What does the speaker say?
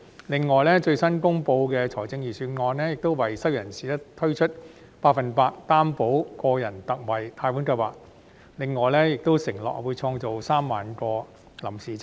此外，最新公布的預算案，亦為失業人士推出百分百擔保個人特惠貸款計劃，並承諾會創造3萬個臨時職位。